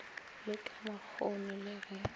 le ka makgoni le ge